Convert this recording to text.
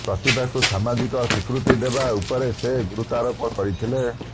ପ୍ରତିଭାକୁ ସାମାଜିକ ସ୍ୱୀକୃତି ଦେବା ଉପରେ ସେ ଗୁରୁତ୍ୱାରୋପ କରିଥିଲେ